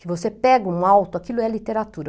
Que você pega um alto, aquilo é literatura.